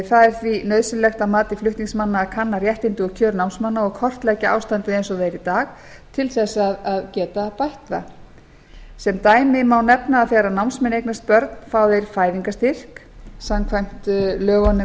það er því nauðsynlegt að mati flutningsmanna að kanna réttindi og kjör námsmanna og kortleggja ástandið eins og það er í dag til þess að geta bætt það sem dæmi má nefna að þegar námsmenn eignast börn fá þeir fæðingarstyrk samkvæmt lögunum